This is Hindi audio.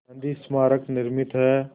गांधी स्मारक निर्मित है